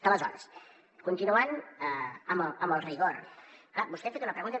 aleshores continuant amb el rigor clar vostè ha fet una pregunta